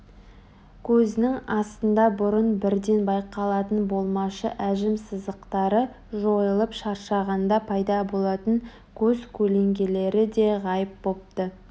көзінің астында бұрын бірден байқалатын болмашы әжім сызықтары жойылып шаршағанда пайда болатын көз көлеңкелері де ғайып бопты